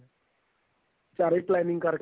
ਚਾਰੇ planning ਕਰਕੇ